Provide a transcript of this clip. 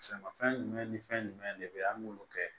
Sɛnɛfɛn jumɛn ni fɛn jumɛn de bɛ an k'olu kɛ